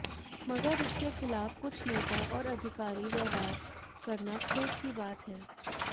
मगर इसके खिलाफ कुछ नेता और अधिकारी व्यवहार करना खेद की बात है